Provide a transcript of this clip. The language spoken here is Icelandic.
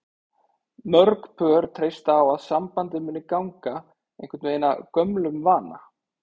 Mörg pör treysta á að sambandið muni ganga einhvern veginn af gömlum vana.